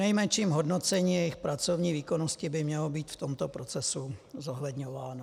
Přinejmenším hodnocení jejich pracovní výkonnosti by mělo být v tomto procesu zohledňováno.